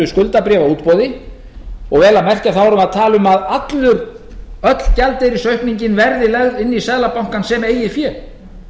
skuldabréfaútboði og vel að merkja þá erum við að tala um að öll gjaldeyrisaukningin verði lögð inn í seðlabankann sem eigið fé